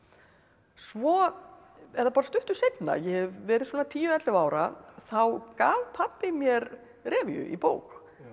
svo er það bara stuttu seinna ég hef verið svona tíu til ellefu ára þá gaf pabbi mér í bók